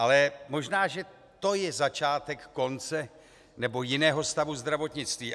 Ale možná že to je začátek konce nebo jiného stavu zdravotnictví.